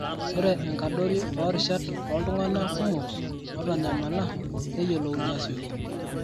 ore enkadori oorishat ooltung'anak kumok ootanyamala neyiolouni aasioki.